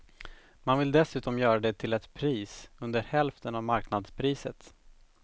Man vill dessutom göra det till ett pris under hälften av marknadspriset.